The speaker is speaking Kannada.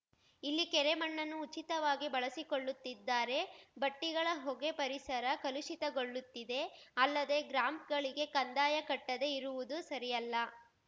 ಇಲ್ಲಿ ಕೆರೆ ಮಣ್ಣನ್ನು ಉಚಿತವಾಗಿ ಬಳಸಿಕೊಳ್ಳುತ್ತಿದ್ದಾರೆ ಭಟ್ಟಿಗಳ ಹೊಗೆ ಪರಿಸರ ಕಲುಷಿತಗೊಳಿಸುತ್ತಿದೆ ಅಲ್ಲದೆ ಗ್ರಾಮ್ ಗಳಿಗೆ ಕಂದಾಯ ಕಟ್ಟದೆ ಇರುವುದು ಸರಿಯಲ್ಲ